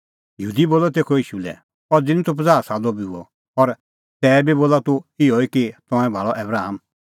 यहूदी बोलअ तेखअ ईशू लै अज़ी निं तूह पज़ाह सालो बी हुअ और तैबी बोला तूह इहअ कि तंऐं भाल़अ आबराम